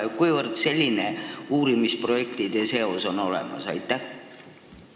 Mil määral selline uurimisprojektide seos olemas on?